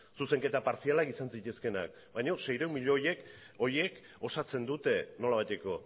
zuzenketa partzialak izan zitezkeenak baina seiehun milioi horiek osatzen dute nolabaiteko